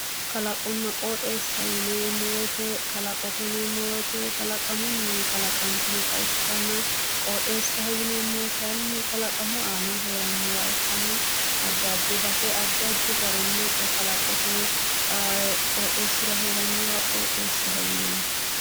Kalaqonna qooxeessa yineemmo woyte kalaqote yineemmo woyte kalaqamunni kalaqantinota ikkitanna qooxeessa yineemmohu kayinni kalaqamu aana heerannoha ikkanna addi addi base addi addi garinni kalaqote qoxeessira heerannoha qooxeessaho yinanni